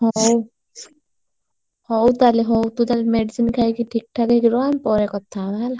ହଉ ହଉ ତାହେଲେ ହଉ ତୁ ତାହେଲେ medicine ଖାଇକି ଠିକଠାକ ହେଇକି ରହ ଆମେ ପରେ କଥାହବା ହେଲା।